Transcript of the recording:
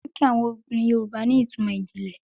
Oríkì àwọn obìnrin Yorùbá ní ìtumò ìjìnlẹ̀.